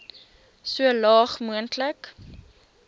so laag moontlik